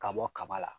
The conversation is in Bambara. Ka bɔ kaba la